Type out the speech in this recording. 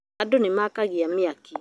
Andũ nĩmaakagia mĩaki